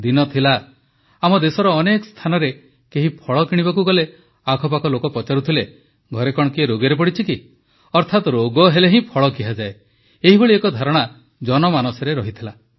ଦିନ ଥିଲା ଆମ ଦେଶର ଅନେକ ସ୍ଥାନରେ କେହି ଫଳ କିଣିବାକୁ ଗଲେ ଆଖପାଖ ଲୋକ ପଚାରୁଥିଲେ ଘରେ କଣ କିଏ ରୋଗରେ ପଡ଼ିଛି କି ଅର୍ଥାତ୍ ରୋଗ ହେଲେ ହିଁ ଫଳ ଖିଆଯାଏ ଏଭଳି ଏକ ଧାରଣା ଜନମାନସରେ ଥିଲା